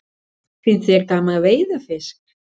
Finnst þér gaman að veiða fisk?